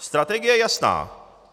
Strategie je jasná.